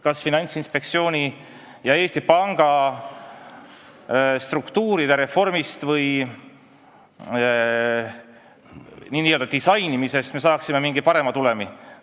Kas Finantsinspektsiooni ja Eesti Panga struktuuri reformist või n-ö disainimisest me saaksime parema tulemi?